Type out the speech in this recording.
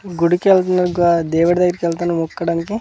గుడికి వెళ్తున్నా ఒగ్గ దేవుడి దగ్గరకెళ్తాను మొక్కోడానికి.